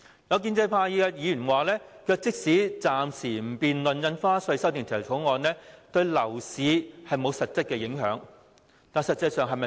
有建制派議員表示，即使暫時不討論《條例草案》，對樓市也沒有實質影響，但事實並非如此。